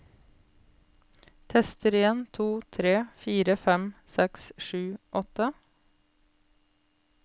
Tester en to tre fire fem seks sju åtte